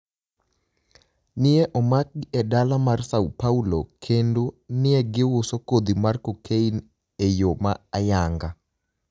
ni e omakgi e dala mar S�o Paulo, kenido ni e giuso kodhi mar cocaini e e yo ma ayaniga.